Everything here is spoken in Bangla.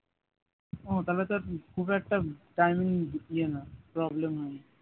ও তাহলে তো আর খুব একটা timing ইয়ে নয় problem নয়